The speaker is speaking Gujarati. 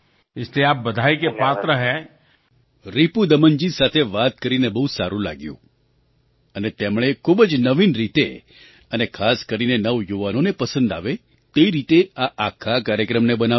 તેથી તમે અભિનંદનને પાત્ર છો રિપુદમનજી તમારી સાથે વાત કરીને બહુ સારું લાગ્યું અને તેમણે એક ખૂબ જ નવીન રીતે અને ખાસ કરીને નવયુવાનોને પસંદ આવે તે રીતે આ આખા કાર્યક્રમને બનાવ્યો છે